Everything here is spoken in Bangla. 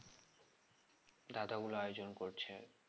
দাদাগুলো আয়োজন করছে